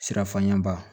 Sirafaɲaba